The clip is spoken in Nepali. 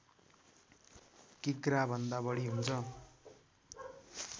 किग्रा भन्दा बढी हुन्छ